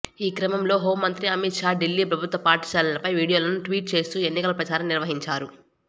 ఈ క్రమంలో హోంమంత్రి అమిత్ షా ఢిల్లీ ప్రభుత్వ పాఠశాలలపై వీడియోలను ట్వీట్ చేస్తూ ఎన్నికల ప్రచారం నిర్వహించారు